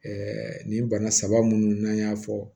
nin bana saba minnu n'an y'a fɔ